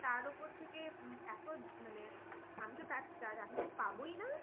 তার ওপর থেকে এতো মানে আমি তো পাবোই না।